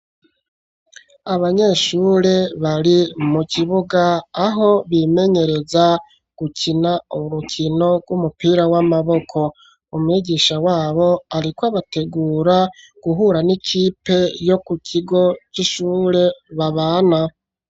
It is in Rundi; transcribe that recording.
Abanyeshuri bari mu kibuga aho bimenyereza gukina urukino rw`umupira w`amaboko, umwigisha wabo ariko abategura guhura n`ikipe yo ku kigo c`ishure babana.